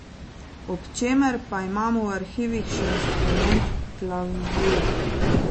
Ob čemer pa imamo v arhivih še instrument klavzure.